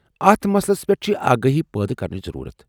اتھ مسلس پیٹھ چھِ آگٲہی پٲدٕ کرنچ ضرورت۔